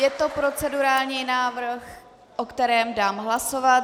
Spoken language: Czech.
Je to procedurální návrh, o kterém dám hlasovat.